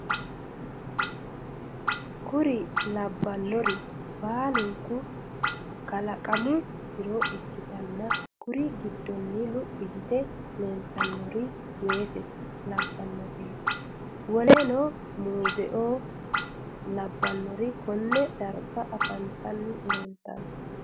Kuri lanniri baluniku kalakamu jiro ikitana kuri gidono luph yite lilitanori weeseo labanoreti woleno muzeo labanori kone dariga afanitani leleitano.